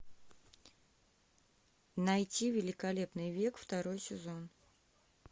найти великолепный век второй сезон